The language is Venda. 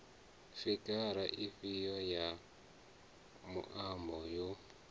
figara ifhio ya muambo yo